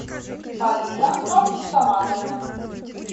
полина абдусаматовна